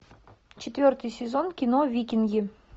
четвертый сезон кино викинги